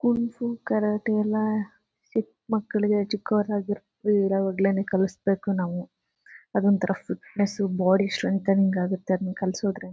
kung fu karate ಎಲ್ಲ ಚಿಕ್ಮಕ್ಕಳಿಗೆ ಚಿಕ್ಕವರು ಇರುವಾಗಲೇನೆ ಕಲಸಬೇಕು ನಾವು ಅದು ಒಂತರ ಫಿಟ್ನೆಸ್ ಬಾಡಿ ಸ್ಟ್ರೆಂಥ್ ಆನಿಂಗ್ ಆಗುತ್ತೆ ಅದನ ಕಲಸೋದ್ರಿಂದ--